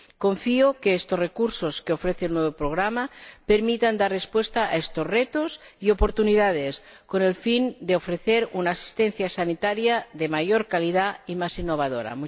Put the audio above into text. Confío en que estos recursos que ofrece el nuevo Programa permitan dar respuesta a estos retos y oportunidades, con el fin de ofrecer una asistencia sanitaria de mayor calidad y más innovadora.